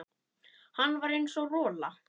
Hann var eins og rola.